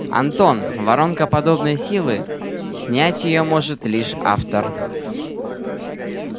антон воронка подобной силы снять её сможет лишь автор